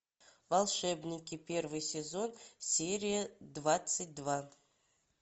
волшебники первый сезон серия двадцать два